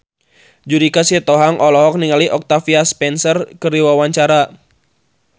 Judika Sitohang olohok ningali Octavia Spencer keur diwawancara